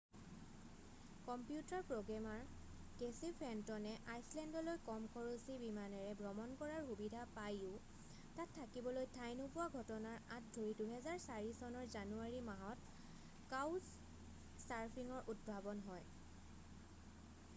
computer programmer Casey ফেণ্টনে আইচলেণ্ডলৈ কম খৰছী বিমানেৰে ভ্ৰমণ কৰাৰ সুবিধা পাইও তাত থাকিবলৈ ঠাই নোপোৱা ঘটনাৰ আঁত ধৰি 2004 চনৰ জানুৱাৰী মাহত কাউচ্ছ চাৰ্ফিঙৰ উদ্ভাৱন হয়